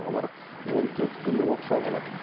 олар он төрт күн оқшау болады